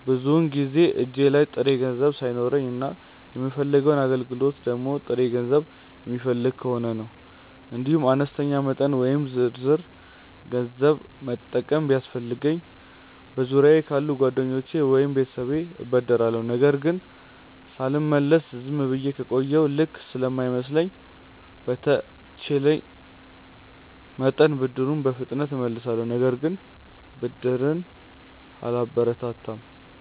ብዙውን ጊዜ እጄ ላይ ጥሬ ገንዘብ ሳይኖረኝ እና የምፈልገው አገልግሎት ደግሞ ጥሬ ገንዘብ የሚፈልግ ከሆነ ነው። እንዲሁም አነስተኛ መጠን ወይም ዝርዝር ገንዘብ መጠቀም ቢያስፈልገኝ በዙሪያየ ካሉ ጓደኞቼ ወይም ቤተሰብ እበደራለሁ። ነገር ግን ሳልመልስ ዝም ብዬ ከቆየሁ ልክ ስለማይመስለኝ በተቼለኝ መጠን ብድሩን በፍጥነት እመልሳለሁ። ነገር ግን ብድርን አላበረታታም።